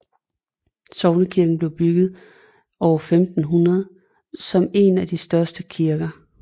Sognekirken blev bygget år 1500 som en af de største kirker